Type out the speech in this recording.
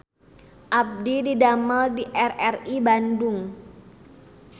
Abdi didamel di RRI Bandung